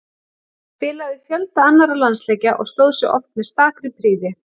Hann spilaði fjölda annarra landsleikja og stóð sig oft með stakri prýði.